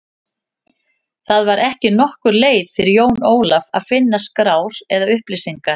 Það var ekki nokkur leið fyrir Jón Ólaf að finna skrár eða upplýsingar.